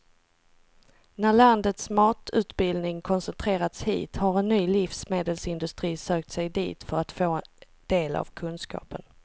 När landets matutbildning koncentrerats hit har en ny livsmedelsindustri sökt sig dit för att få del av kunskapen.